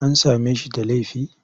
An same shi da laifi?